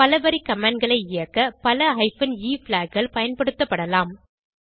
பலவரி commandகளை இயக்க பல ஹைபன் எ flagகள் பயன்படுத்தப்படலாம்